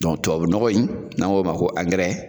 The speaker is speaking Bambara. Dɔnku tubabu nɔgɔ in n'an k'o ma ko angɛrɛ